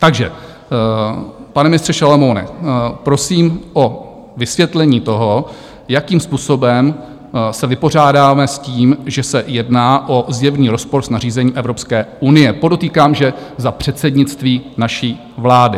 Takže, pane ministře Šalomoune, prosím o vysvětlení toho, jakým způsobem se vypořádáme s tím, že se jedná o zjevný rozpor s nařízením Evropské unie, podotýkám, že za předsednictví naší vlády.